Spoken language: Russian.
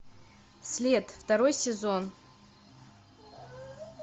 след второй сезон